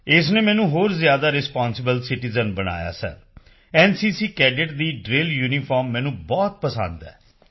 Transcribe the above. ਇਸ ਨੇ ਮੈਨੂੰ ਹੋਰ ਜ਼ਿਆਦਾ ਰਿਸਪਾਂਸਿਬਲ ਸਿਟੀਜ਼ਨ ਬਣਾਇਆ ਹੈ ਸਰ ਐਨਸੀਸੀ ਕੈਡੇਟ ਦੀ ਡ੍ਰਿਲ ਯੂਨੀਫਾਰਮ ਮੈਨੂੰ ਬੇਹੱਦ ਪਸੰਦ ਹੈ